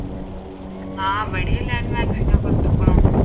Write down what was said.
ആഹ് ഇവിടെയും എല്ലാവരു്ം vaccine ഒക്കെ